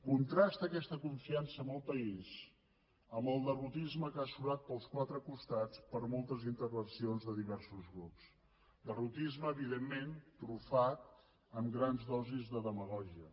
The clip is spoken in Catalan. contrasta aquesta confiança en el país amb el derrotisme que ha surat pels quatre costats en moltes intervencions de diversos grups derrotisme evidentment trufat amb grans dosis de demagògia